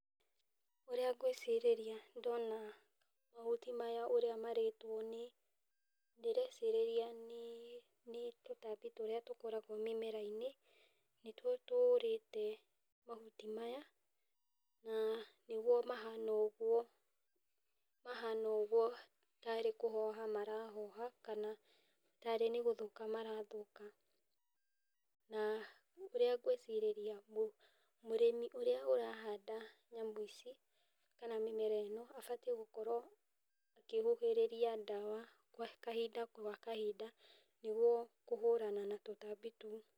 Ũrĩa ngwĩcirĩria ndona mahuti maya ũrĩa marĩtwo nĩ, ndĩrecirĩria nĩ tũtambi tũrĩa tũkoragwo mĩmera-inĩ. Nĩtwo tũrĩte mahuti maya, na nĩgwo mahana ũguo, mahana ũguo tarĩ kũhoha marahoha, kana tarĩ nĩ gũthũka marathũka. Na ũrĩa ngwĩcirĩria mũrĩmi ũrĩa ũrahanda nyamũ ici, kana mĩmera ĩno, abatiĩ gũkorwo akĩhuhĩrĩria ndawa kahinda gwa kahinda nĩguo kũhũrana na tũtambi tũu.